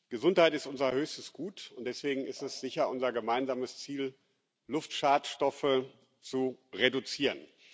Gesundheit ist unser höchstes Gut, und deswegen ist es sicher unser gemeinsames Ziel, Luftschadstoffe zu reduzieren.